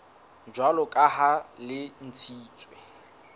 jwalo ka ha le ntshitswe